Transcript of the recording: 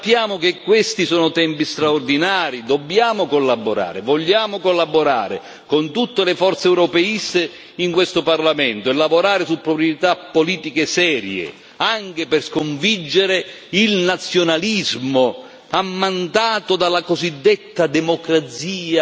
Ma sappiamo che questi sono tempi straordinari, dobbiamo collaborare, vogliamo collaborare con tutte le forze europeiste in questo Parlamento e lavorare su priorità politiche serie anche per sconfiggere il nazionalismo ammantato dalla cosiddetta democrazia